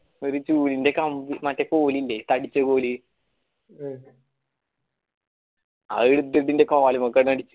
ഒരു ചൂലിൻറെ കമ്പ് മറ്റെ കമ്പില്ലേ തടിച്ച കോൽ ആയെടുത്തിട്ട് ഇന്റെ കാലുമടച്ചിട്ട്